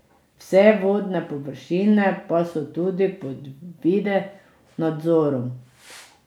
Vse vodne površine pa so tudi pod video nadzorom.